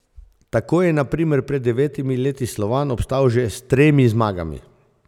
Tako je na primer pred devetimi leti Slovan obstal že s tremi zmagami.